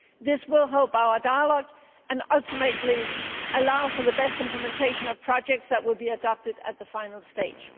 This will help our dialogue and ultimately allow for the best implementation of projects which will be adopted at the final stage.